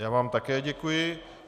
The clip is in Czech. Já vám také děkuji.